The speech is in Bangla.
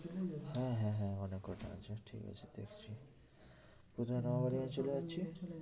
হ্যাঁ হ্যাঁ অনেক কটা আছে ঠিক আছে দেখছি প্রথমে